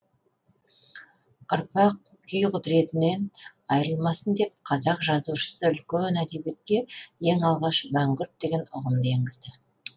ұрпақ күй құдіретінен айрылмасын деп қазақ жазушысы үлкен әдебиетке ең алғаш мәңгүрт деген ұғымды енгізді